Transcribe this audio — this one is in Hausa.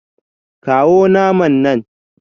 Kawo naman nan